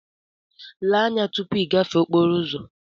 Lee anya tupu ịgafe okporo ụzọ!